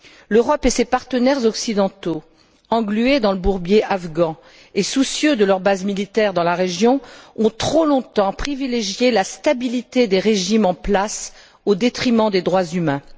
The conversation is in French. L'Europe et ses partenaires occidentaux, englués dans le bourbier afghan et soucieux de leurs bases militaires dans la région, ont trop longtemps privilégié la stabilité des régimes en place au détriment des droits humains.